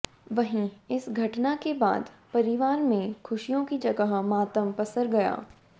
वहीं इस घटना के बाद परिवार में खुशियों की जगह मातम पसर गया